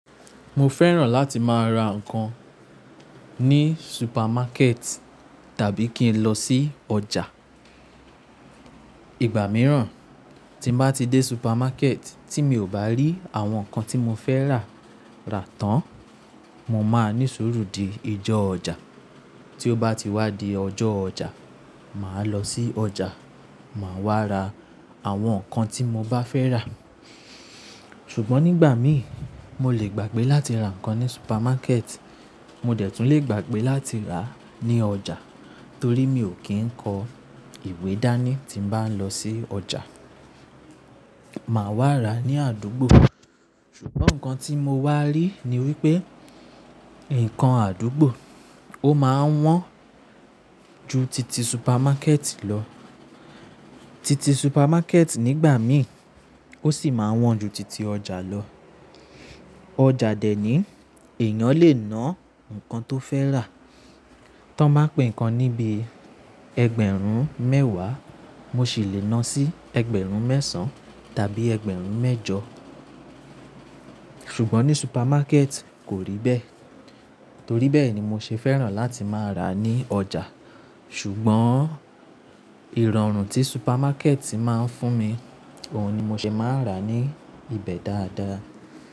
Mo fẹ́ràn láti máa ra nǹkan ní supamaketi tàbí kí n lọ sí ọjà. Ìgbà mìíràn tí mo bá ti dé supamaketi tí mi ò bá rí àwọn nǹkan tí mo fẹ́ rà rà tán, mo má ní sùúrù di ijó ọjà. Tí ó bá ti wá di ọjọ́ ọjà, màá lọ sí ọjà, màá wá ra àwọn nǹkan tí mo bá fẹ́ rà. Ṣùgbọ́n nígbà míì mo lè gbàgbé láti ra nǹkan ní supamaket, mo dẹ̀ tún lè gbàgbé láti rà ní ọjà torí mi ò kí ń kọ ìwé dání tí mo bá ń lọ sí ọjà. Màá wá ra ní àdúgbò. Ṣùgbọ́n nǹkan tí mo wá rí ni wípé nǹkan àdúgbò ó máa wọ́n ju titi supamaket lọ. Titi supermarket nígbà míì ó sì máa wọ́n ju titi ọjà Ọjà dè ní èèyàn lè ná nǹkan tó fẹ́ rà. Tan báa pe nǹkan níbi ẹgbẹ̀rún mẹ́wàá, mo sì lè ná sí ẹgbẹ̀rún mẹ́sàn tàbí ẹgbẹ̀rún mẹ́jọ. Ṣùgbọ́n ní supermarket kò rí bẹ́ẹ̀. Torí bẹ́ẹ̀ ni mo ṣe fẹ́ràn láti máa rà ní ọjà. Ṣùgbọ́n ìrọ̀rùn tí supamaket máa ń fún mi, òun ni mo ṣe máa ń rà ní ibẹ̀ dáadáa.